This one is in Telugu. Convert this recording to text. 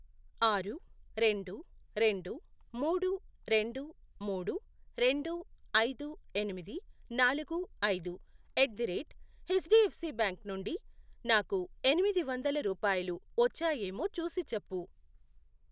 ఆరు, రెండు, రెండు, మూడు, రెండు, మూడు, రెండు, ఐదు, ఎనిమిది, నాలుగు, ఐదు, ఎట్ ది రేట్ ఎచ్డిఎఫ్సిబ్యాంక్ నుండి నాకు ఎనిమిది వందలు రూపాయలు వచ్చాయేమో చూసిచెప్పు.